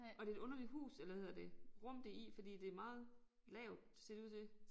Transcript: Og det et underligt hus eller hedder det rum det i fordi det meget lavt ser det ud til